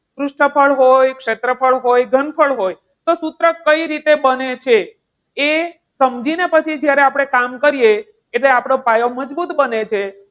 પૃષ્ઠફળ હોય, ક્ષેત્રફળ હોય, ઘનફળ હોય તો સૂત્ર કઈ રીતે બને છે એ સમજીને પછી આપણે જ્યારે કામ કરીએ એટલે આપણો પાયો મજબૂત બને છે.